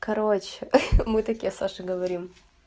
короче хи-хи мы такие саше говорим